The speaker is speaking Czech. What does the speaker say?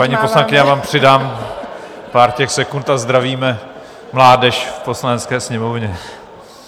Paní poslankyně, já vám přidám pár těch sekund a zdravíme mládež v Poslanecké sněmovně.